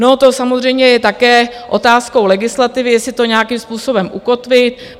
No to samozřejmě je také otázkou legislativy, jestli to nějakým způsobem ukotví.